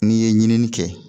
N'i ye ɲinini kɛ